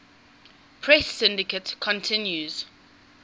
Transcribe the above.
press syndicate continued